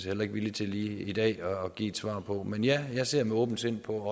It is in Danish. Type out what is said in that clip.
heller ikke villig til lige i dag at give et svar på men ja jeg ser med åbent sind på at